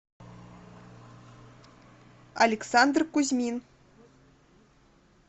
александр кузьмин